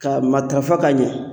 Ka matarafa ka ɲɛ